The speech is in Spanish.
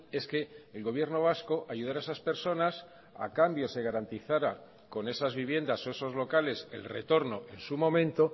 es que el gobierno vasco ayudara a esas personas a cambio se garantizara con esas viviendas o esos locales el retorno en su momento